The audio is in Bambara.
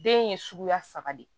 Den ye suguya saba de ye